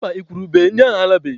Mba, igwurube ndị ahụ alabeghị.